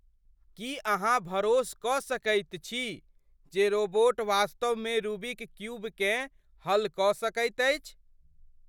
की अहाँ भरोस कऽ सकैत छी जे रोबोट वास्तवमे रूबिक क्यूबकेँ हल कऽ सकैत अछि?